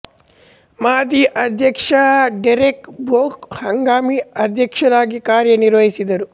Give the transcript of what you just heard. ಮಾಜಿ ಅಧ್ಯಕ್ಷ Derek Bok ಹಂಗಾಮಿ ಅಧ್ಯಕ್ಷರಾಗಿ ಕಾರ್ಯ ನಿರ್ವಹಿಸಿದರು